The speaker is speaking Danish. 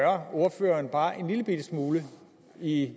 ordføreren bare en lillebitte smule i